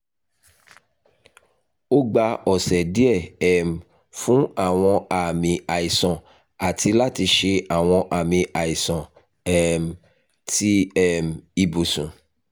o gba ọsẹ diẹ um fun awọn aami aisan ati lati ṣe awọn aami aisan um ti um ibusun